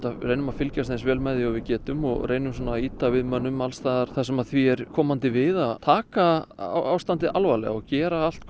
reynum að fylgjast eins vel með og við getum og reynum að ýta við mönnum alls staðar þar sem því er komandi við að taka ástandið alvarlega og gera allt